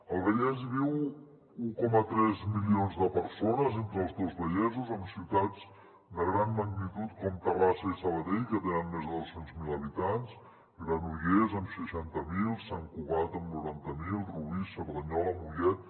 al vallès hi viuen un coma tres milions de persones entre els dos vallesos amb ciutats de gran magnitud com terrassa i sabadell que tenen més de dos cents miler habitants granollers amb seixanta mil sant cugat amb noranta mil rubí cerdanyola mollet